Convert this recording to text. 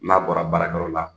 N'a bɔra baarakɛyɔrɔ la